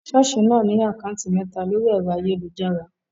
Ṣọ́ọ̀ṣì náà ní àkátì mẹ́ta lórí ẹ̀rọ ayélujára.